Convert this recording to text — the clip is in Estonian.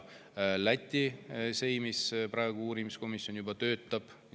Läti seimis uurimiskomisjon juba töötab.